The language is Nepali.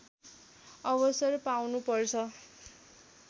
अवसर पाउनुपर्छ